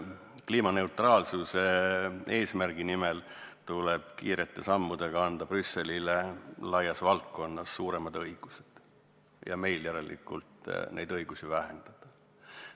Kliimaneutraalsuse eesmärgi nimel tahetakse kiirete sammudega anda Brüsselile laias valdkonnas suuremad õigused ja meil järelikult neid õigusi vähendada.